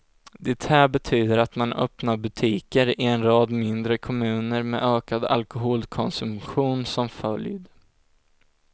Det här betyder att man öppnar butiker i en rad mindre kommuner med ökad alkoholkonsumtion som följd.